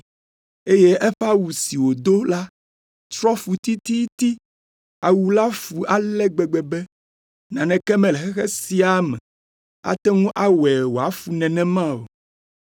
eye eƒe awu si wòdo la trɔ fu tititi. Awu la fu ale gbegbe be, naneke mele xexea me ate ŋu awɔe wòafu nenema o.